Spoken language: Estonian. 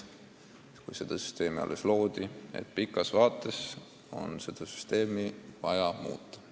Juba siis, kui seda süsteemi alles loodi, öeldi, et pikas vaates on seda vaja muuta.